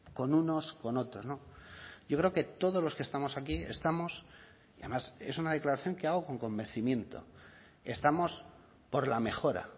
con unos con otros yo creo que todos los que estamos aquí estamos y además es una declaración que hago con convencimiento estamos por la mejora